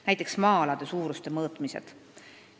Näiteks võib tuua maa-alade suuruse mõõtmised.